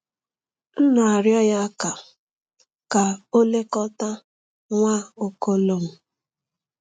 M na-arịọ ya ka ka o lekọta Nwaokolo m.